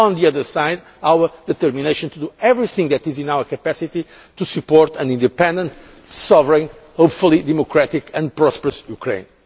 and on the other side, to show our determination to do everything that is in our capacity to support an independent, sovereign and hopefully democratic and prosperous Ukraine.